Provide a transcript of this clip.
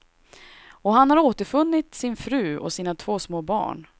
Och han har återfunnit sin fru och sina två små barn.